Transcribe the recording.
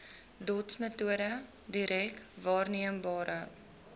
dotsmetode direk waarneembare